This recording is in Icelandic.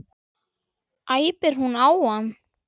æpir hún á hann.